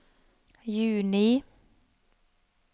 juni